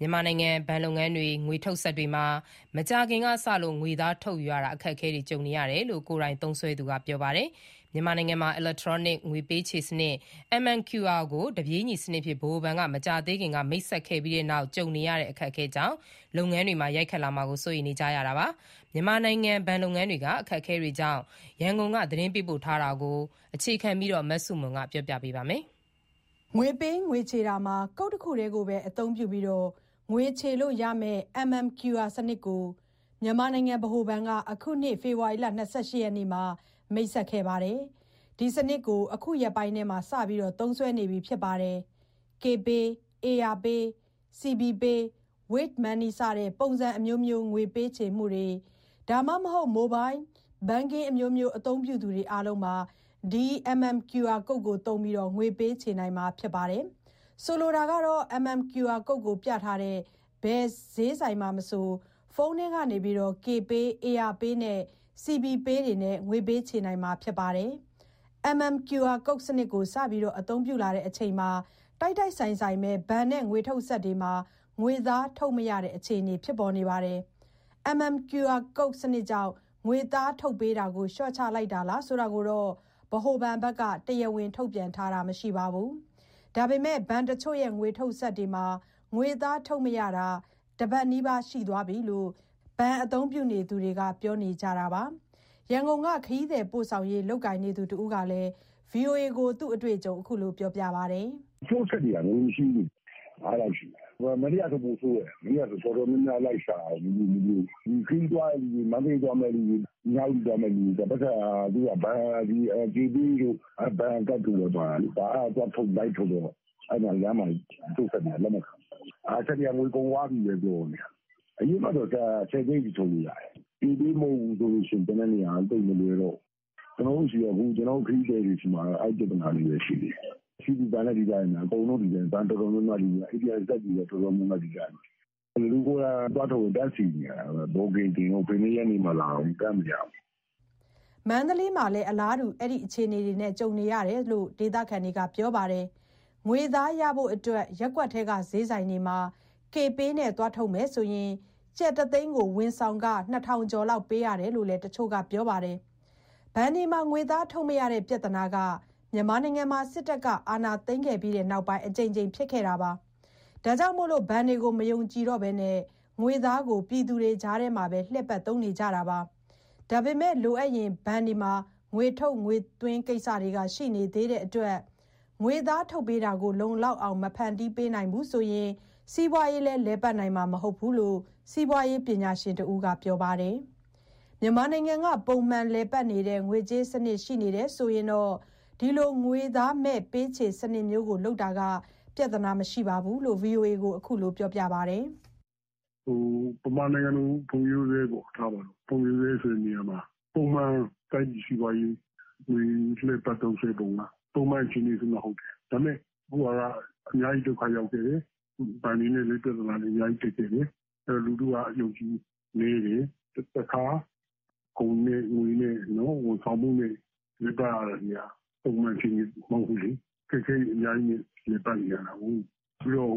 မြန်မာနိုင်ငံဘဏ်လုပ်ငန်းတွေက ငွေထုတ်စက်တွေမှာ မကြာသေးခင်ကစလို့ ငွေသားထုတ်ယူရတာ အခက်အခဲတွေ ကြုံနေရတယ်လို့ ကိုယ်တိုင်သုံးစွဲသူတွေက ပြောပါတယ်။ မြန်မာနိုင်ငံမှာ အီလက် ထရောနစ် ငွေပေးချေစနစ် (MMQR)ကို တပြေးညီစနစ်အဖြစ် ဗဟိုဘဏ်က မကြာသေးခင်က မိတ်ဆက်ခဲ့ပြီးနောက်ပိုင်း ကြုံနေရတဲ့ အခက်အခဲကြောင့် လုပ်ငန်းတွေမှာ ရိုက်ခတ်လာမှာကိုလည်း စိုးရိမ်နေကြတာပါ။ မြန်မာနိုင်ငံ ဘဏ်လုပ်ငန်းတွေက အခက်အခဲတွေအကြောင်း ရန်ကုန်က သတင်း ပေးပို့ ထားတာကို အခြေခံပြီး တင်ပြပေးထားပါတယ်။ ငွေပေး၊ ငွေချေတာမှာ ကုတ်တခုတည်းကိုပဲ အသုံးပြုပြီး ငွေချေလို့ရမဲ့ MMQR စနစ်ကို မြန်မာနိုင်ငံ ဗဟိုဘဏ်က အခုနှစ် ဖေဖော်ဝါရီလ ၂၈ ရက်မှာ မိတ်ဆက်ခဲ့ပါတယ်။ ဒီစနစ်ကို အခုရက်ပိုင်းထဲမှာ စပြီး သုံးစွဲနေပြီ ဖြစ်ပါတယ်။ Kpay, AYA pay, CB Pay, Wave Money စတဲ့ ပုံစံအမျိုးမျိုး ငွေပေး ချေမှုတွေ၊ ဒါမှမဟုတ် Mobile Banking အမျိုးမျိုး အသုံးပြုတွေအားလုံး ဒီ MMQR ကုတ်ကိုသုံးပြီး ငွေပေးချေနိုင်မှာ ဖြစ်ပါတယ်။ ဆိုလိုတာက MMQR ကုတ်ကိုပြထားတဲ့ ဘယ်စျေးဆိုင်မှာမဆို ဖုန်းထဲက Kpay, AYA pay, CB pay နဲ့ ငွေချေနိုင်မှာဖြစ်ပါတယ်။ MMQR စနစ်ကို စပြီးသုံးလာတဲ့အချိန်မှာ တိုက်တိုက်ဆိုင်ဆိုင်ပဲ ဘဏ်နဲ့ ငွေထုတ်စက်တွေမှာ ငွေသား ထုတ်မရတဲ့ အခြေအနေတွေ ဖြစ်ပေါ်နေပါတယ်။ MMQR စနစ်ကြောင့် ငွေသား ထုတ်ပေးတာကို လျှော့ချလိုက်တာလား ဆိုတာကိုတော့ ဗဟိုဘဏ်က တရားဝင် ထုတ်ပြန်ထားတာတော့ မရှိပါဘူး။ ဒါပေမဲ့ ဘဏ်တချို့ရဲ့ ငွေထုတ်စက်တွေမှာ ငွေသားထုတ်မရတာ တပတ်နီးပါး ရှိသွားပြီလို့ ဘဏ် အသုံးပြုသူတွေက ပြောနေကြတာပါ။ ရန်ကုန်က ခရီးသည်ပို့ဆောင်ရေး လုပ်ကိုင်နေသူတဦးက ဗွီအိုအေကို အခုလို ပြောပါတယ်။ "တချို့စက်တွေက ငွေမရှိဘူး။ မနေ့ကဆို ပိုဆိုးတယ်။ မနေ့က တော်တော်များများ လိုက်ရှာရတယ်။ မတွေ့ဘူး။ ခရီးသွားတဲ့သူတွေ၊ မန္တလေးသွားတဲ့သူတွေ ၊ နှစ်ညအိပ်သွားမဲ့သူတွေ ပိုက်ဆံက Kpayတို့၊ ဘဏ်ကတ်တို့ပဲ ပါတာလေ။ အဲဒါလိုက်ထုတ်တော့ လမ်းမှာ တချို့စက်တွေက လက်မခံဘူး။ စက်တွေက ငွေကုန်သွားပြီပဲ ပြောနေတာ။ အရင်တုန်းက (၁၀) သိန်းအထိ ထုတ်လို့ရတယ်။ Kpay မဟုတ်ဘူးဆို ကျန်တဲ့နေရာက သိပ်မလွယ်တော့ဘူး။ ကျနော်တို့ ခရီးသည်တွေဆီမှာ အဲဒီပြဿနာတွေ ရှိတယ်။ CB ဘဏ်လည်း တူတူပဲ၊ အကုန်လုံး ဒီအတိုင်းပဲ။ ဘဏ်တော်တော်များများ ATM စက်တွေ ဒီအတိုင်းပဲ။ လူကိုယ်တိုင် (ဘဏ်မှာ) သွားထုတ်ရင် တန်းစီနေရတာ၊ ဘွတ်ကင်တင်ဦး၊ ဘယ်နှစ်ရက်နေ့မှ လာဦး၊ တန်းမရဘူး။" မန္တလေးမှာလည်း အလားတူ အခြေအနေကြုံနေရကြောင်း ဒေသခံတချို့က ပြောပါတယ်။ ငွေသားရဖို့ အတွက် ရပ်ကွက်ထဲက စျေးဆိုင်တွေမှာ Kpay နဲ့သွားထုတ်မယ်ဆိုရင် ကျပ် တသိန်းကို ဝန်ဆောင်ခ ၂,၀၀၀ ကျော်လောက် ပေးရကြောင်း တချို့ကလည်း ပြောပါတယ်။ ဘဏ်တွေမှာ ငွေသားထုတ်မရတဲ့ ပြဿနာက စစ်ကောင်စီ အာဏာသိမ်းပြီးတဲ့ နောက်ပိုင်းမှာ အကြိမ်ကြိမ် ဖြစ်ခဲ့ပါတယ်။ ဒါကြောင့် ဘဏ်တွေကို မယုံဘဲ ငွေသားကို ပြည်သူတွေကြားထဲမှာပဲ လှည့်ပတ်သုံးနေကြတာပါ။ ဒါပေမဲ့ လိုအပ်ရင် ဘဏ်တွေမှာ ငွေထုတ်၊ ငွေသွင်းကိစ္စတွေက ရှိနေ သေးတဲ့အတွက် ငွေသားထုတ်ပေးတာကို လုံလောက်အောင် မဖန်တီးပေးဘူးဆိုရင် စီးပွားရေး လည်း လည်ပတ်နိုင်မှာ မဟုတ်ဘူးလို့ စီးပွားရေးပညာရှင်တဦးက ပြောပါတယ်။ မြန်မာနိုင်ငံက ပုံမှန် လည်ပတ်နေတဲ့ ငွေကြေးစနစ် ရှိနေတယ်ဆိုရင်တော့ ဒီလို ငွေသားမဲ့ ပေးချေစနစ်မျိုးကို လုပ်တာဟာ ပြဿနာမရှိကြောင်း သူက VOA ကို အခုလို ပြောပါတယ်။ "မြန်မာနိုင်ငံလို ဖွံ့ဖြိုးဆဲ ထားပါတော့၊ ဖွံ့ဖြိုးဆဲဆိုတာမှာ ပုံမှန် တိုင်းပြည်စီးပွားရေး ငွေလှည့်ပတ် သုံးစွဲပုံက ပုံမှန်အခြေအနေဆိုရင် ဟုတ်တယ်၊ ဒါပေမဲ့ အခုက အများကြီး ဒုက္ခရောက်တယ်။ ဘဏ် တွေနဲ့လည်း ပြဿနာတွေအများကြီး တက်ခဲ့တယ်။ အဲဒီတော့ လူထုက အယုံအကြည်နည်းတယ်။ တခါ ကုန်နဲ့ ငွေနဲ့ ဝန်ဆောင်မှုနဲ့ လည်ပတ်ရတဲ့နေရာ ပုံမှန်အခြေအန မဟုတ်ဘူးလေ၊ အခက်အခဲတွေ အများကြီးနဲ့ လည်ပတ်နေရတာကိုး။ ပြီးတော့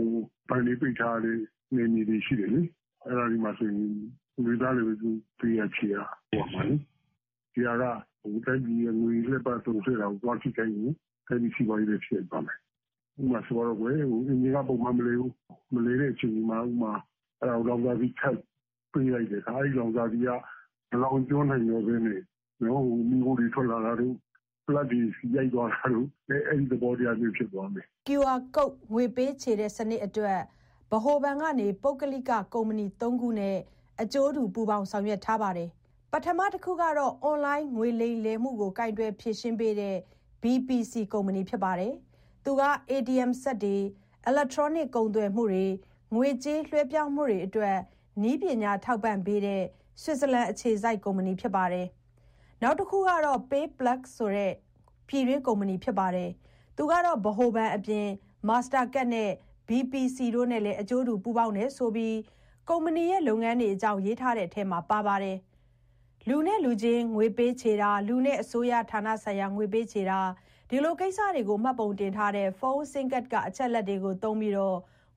ဘဏ်တွေပိတ်ထားရတဲ့ (ပဋိပက္ခ) နယ်မြေတွေရှိ တယ်လေ။ အဲဒီနေရာတွေမှာ ငွေသားနဲ့ပဲ ပေးရ၊ ချေရ လုပ်ရမှာလေ။ ဒီဟာက တိုင်းပြည်ရဲ့ ငွေလှည့်ပတ်တာကို သွားပြီးထိခိုက်ရင် တိုင်းပြည်စီးပွားရေးလည်း ထိခိုက်သွားမယ်။ ဥပမာ အင်ဂျင်က ပုံမှန်မလည်ဘူး၊ မလည်တဲ့ အခြေအနေမှာ အဲဒါကို လောင်စာဆီ ထပ်ပေးလိုက်တယ်ထား၊ အဲဒီလောင်စာဆီက မလောင်ကျွမ်းနိုင်တော့ဘဲနဲ့ မီးခိုးတွေ ထွက်လာတာတို့၊ ပလပ်တွေ ဆီရီုက်သွား တာတို့ အဲဒီသဘောတရားမျိုး ဖြစ်သွားမယ်။" MMQR ငွေပေးချေစနစ်အတွက် ဗဟိုဘဏ်က ပုဂ္ဂလိကကုမ္ပဏီသုံးခုနဲ့ အကျိုးတူ ပူးပေါင်းထားပါ တယ်။ ပထမတခုကတော့ အွန်လိုင်း ငွေလိမ်မှုမျိုးတွေကို ကိုင်တွယ်ဖြေရှင်းပေးတဲ့ BPC ကုမ္ပဏီပါ။ သူက ATM စက်တွေ၊ အီလက်ထရောနစ် ကုန်သွယ်မှုတွေ၊ ငွေကြေး လွှဲပြောင်းမှုတွေအတွက် နည်းပညာထောက်ပံ့ပေးတဲ့ ဆွစ်ဇာလန်အခြေစိုက် ကုမ္ပဏီပါ။ နောက်တခုကတော့ PayPlus ဆိုတဲ့ ပြည်တွင်းကုမ္ပဏီပါ။ သူက ဗဟိုဘဏ်အပြင် Mastercard တို့၊ BPC တို့နဲ့လည်း အကျိုးတူ ပူးပေါင်းတယ်ဆိုပြီး ကုမ္ပဏီရဲ့ လုပ်ငန်းတွေအကြောင်း ရေးထားတဲ့အထဲမှာ ပါပါတယ်။ လူလူချင်း ငွေပေးချေတာ၊ လူနဲ့အစိုးရဌာနဆိုင်ရာ ပေးချေတာ၊ ဒီလိုကိစ္စတွေကို မှတ်ပုံတင် ထားတဲ့ ဖုန်းဆင်းကတ်က အချက်အလက်တွေကို သုံးပြီး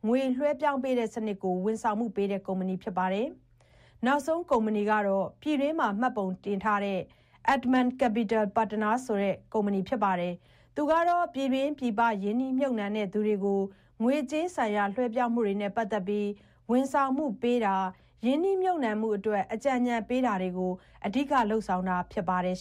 ငွေလွှဲပြောင်းတဲ့စနစ်ကို ဝန်ဆောင်မှုပေးတဲ့ ကုမ္ပဏီ ဖြစ်ပါတယ်။ နောက်ဆုံး ကုမ္ပဏီကတော့ ပြည်တွင်းမှာ မှတ်ပုံတင်ထားတဲ့ Andaman Capital Partners ဆိုတဲ့ ကုမ္ပဏီပါ၊ သူကတော့ ပြည်တွင်း၊ ပြည်ပ ရင်းနှီးမြှုပ်နှံသူတွေကို ငွေကြေးဆိုင်ရာ လွှဲပြောင်းမှုတွေနဲ့ ပတ်သက်ပြီး ဝန်ဆောင်မှုပေးတာ၊ ရင်းနှီးမြှုပ်နှံမှုအတွက် အကြံဉာဏ်ပေးတာတွေကို အဓိက လုပ်တာ ဖြစ်ပါတယ်